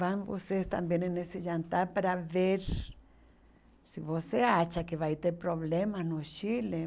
Vão vocês também ne nesse jantar para ver se você acha que vai ter problemas no Chile.